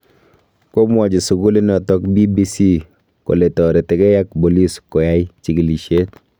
Komwachi sukulinoto BBC kole taretigei ak bolis koyai chigilisyet